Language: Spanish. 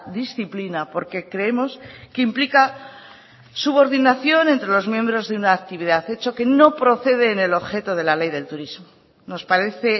disciplina porque creemos que implica subordinación entre los miembros de una actividad hecho que no procede del objeto de la ley del turismo nos parece